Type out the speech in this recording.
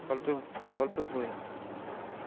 গল্পের বই